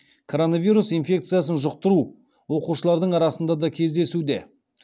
короновирус инфекциясын жұқтыру оқушылардың арасында да кездесуде